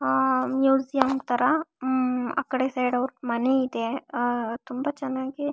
ಆಹ್ಹ್ museum ತರ ಉಮ್ಮ್ ಆಕಡೆ ಸೈಡ್ ಅವ್ರದ್ ಮನೆ ಇದೆ ಆಹ್ಹ್ ತುಂಬ ಚೆನ್ನಾಗಿ.